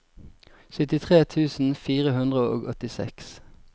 syttitre tusen fire hundre og åttiseks